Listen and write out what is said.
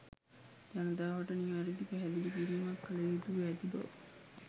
ජනතාවට නිවරැදි පැහැදිලිකිරිමක් කළ යුතුව ඇති බව